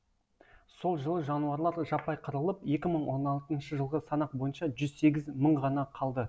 сол жылы жануарлар жаппай қырылып екі мың он алтыншы жылғы санақ бойынша жүз сегіз мың ғана қалды